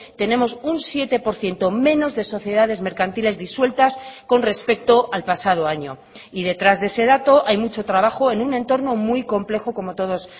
tenemos un siete por ciento menos de sociedades mercantiles disueltas con respecto al pasado año y detrás de ese dato hay mucho trabajo en un entorno muy complejo como todos